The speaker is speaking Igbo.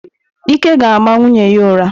Ike ga-ama nwunye ya ụra.